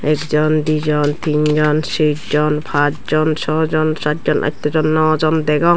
ekjon dijon tinjon sejjon pasjon sojon satjon attojon nawjon degong.